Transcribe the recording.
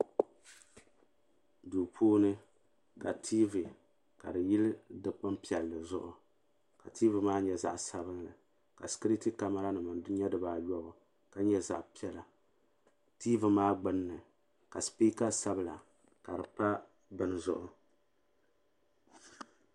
Duu puuni ka tiivi ka di yili dikpin piɛlli zuɣu ka tiivi maa nyɛ zaɣa sabinli ka sikiriti kamara nima nyɛ fibaayɔbu ka nyɛ zaɣa piɛla tiivi maa gbinni ka sipiika sabla ka di pa bini zuɣu.